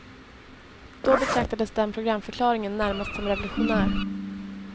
Då betraktades den programförklaringen närmast som revolutionär.